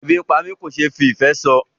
Ebi ń pá mi kò ṣe fí ìfé sọ.